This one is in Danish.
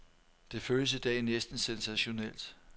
Det føles i dag næsten sensationelt.